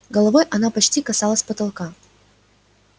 головой она почти касалась потолка